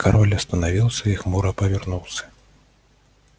король остановился и хмуро повернулся